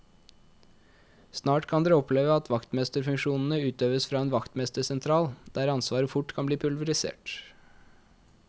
Snart kan dere oppleve at vaktmesterfunksjonene utøves fra en vaktmestersentral, der ansvaret fort kan bli pulverisert.